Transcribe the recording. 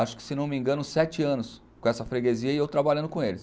Acho que, se não me engano, sete anos com essa freguesia e eu trabalhando com eles.